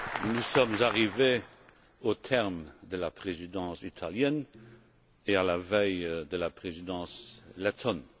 Nous sommes arrivés au terme de la Présidence italienne et à la veille de la Présidence lettone.